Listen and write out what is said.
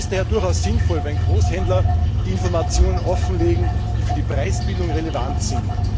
Es ist daher durchaus sinnvoll, wenn Großhändler die Informationen offenlegen, die für die Preisbildung relevant sind.